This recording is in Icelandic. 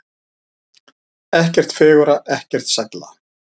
Ekkert fegurra, ekkert sælla.